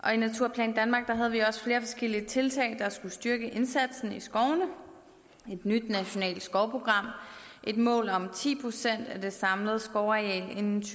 og i naturplan danmark havde vi også flere forskellige tiltag der skulle styrke indsatsen i skovene et nyt nationalt skovprogram et mål om ti procent af det samlede skovareal inden